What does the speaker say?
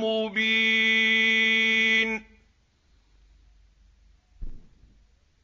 مُّبِينٌ